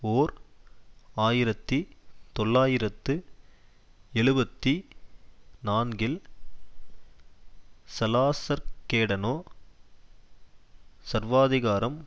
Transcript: ஓர் ஆயிரத்தி தொள்ளாயிரத்து எழுபத்தி நான்கில் சலாசர்கேடனோ சர்வாதிகாரம்